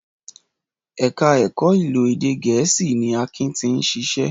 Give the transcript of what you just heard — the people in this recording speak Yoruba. Ẹ̀ka ẹ̀kọ́ ìlò èdè Gẹ̀ẹ́sì ni Akin ti ń ṣiṣẹ́